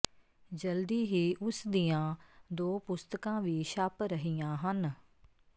ਜਲਦੀ ਹੀ ਉਸ ਦੀਆਂ ਦੋ ਪੁਸਤਕਾਂ ਵੀ ਛਪ ਰਹੀਆਂ ਹਨ